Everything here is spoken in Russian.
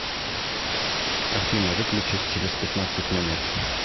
афина выключись через пятнадцать минут